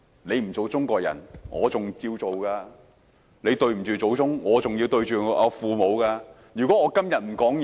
你不做中國人，我還要做；你對不起祖宗，我還要面對父母。